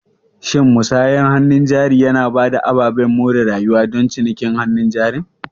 Shin musayar hannun jari yana ba da ababen more rayuwa don cinikin hannun jarin?